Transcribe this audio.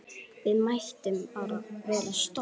Við mættum bara vera stolt!